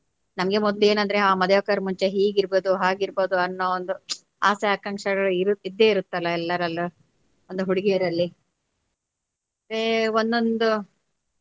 ನಮ್ಗೆ ಮೊದ್ಲು ಏನ್ ಅಂದ್ರೆ ಆ ಮದುವೆ ಆಗುಕರ ಮುಂಚೆ ಹೀಗ್ ಇರ್ಬೋದು ಹಾಗ್ ಇರ್ಬೋದು ಅನ್ನೊ ಒಂದು ಆಸೆ ಆಕಾಂಕ್ಷೆಗಳು ಇರುತ್ತೆ ಇದ್ದೆ ಇರತ್ತಲ್ಲ ಎಲ್ಲಾರಲ್ಲೂ ಒಂದು ಹುಡುಗಿರಲ್ಲಿ ಒಂ~ ಒಂದೊಂದು.